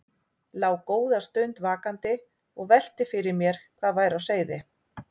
Lá góða stund vakandi og velti fyrir mér hvað væri á seyði.